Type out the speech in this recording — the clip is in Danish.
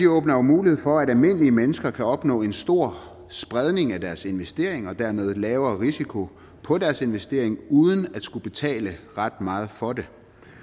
åbner jo mulighed for at almindelige mennesker kan opnå en stor spredning af deres investering og dermed en lavere risiko på deres investering uden at skulle betale ret meget for det